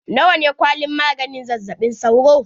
Na wa ne kwalin maganin zazzaɓin sauro?